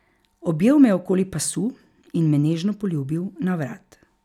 Objel me je okoli pasu in me nežno poljubil na vrat.